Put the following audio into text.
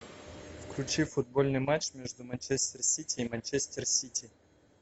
включи футбольный матч между манчестер сити и манчестер сити